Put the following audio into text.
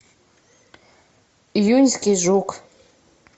июньский жук